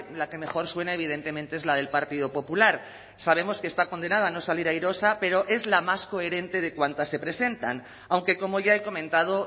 la que mejor suena evidentemente es la del partido popular sabemos que está condenada a no salir airosa pero es la más coherente de cuantas se presentan aunque como ya he comentado